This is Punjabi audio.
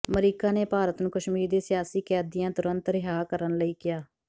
ਅਮਰੀਕਾ ਨੇ ਭਾਰਤ ਨੂੰ ਕਸ਼ਮੀਰ ਦੇ ਸਿਆਸੀ ਕੈਦੀਆਂ ਤੁਰੰਤ ਰਿਹਾਅ ਕਰਨ ਲਈ ਕਿਹਾ